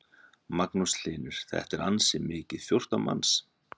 Magnús Hlynur: Þetta er ansi mikið, fjórtán manns?